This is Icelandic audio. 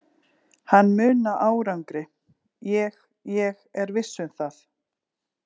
Hann mun ná árangri ég, ég er viss um það.